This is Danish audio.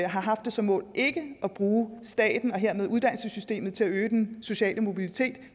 har haft det som mål ikke at bruge staten og dermed uddannelsessystemet til at øge den sociale mobilitet